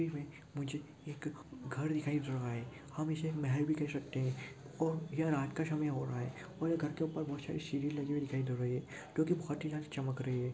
मुझे एक घर दिखाई दे रहा है हम इसे महल भी कह सकते है और यह रात का समय हो रहा है और घर के ऊपर बहुत सारी सीढ़ी लगी हुई दिखाई दे रही है क्योंकि बहुत ही लाइट चमक रही है।